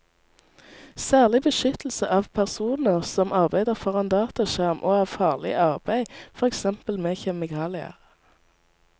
Særlig beskyttelse av personer som arbeider foran dataskjerm og av farlig arbeid, for eksempel med kjemikalier.